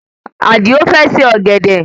Adio fẹ́ se ọ̀gẹ̀dẹ̀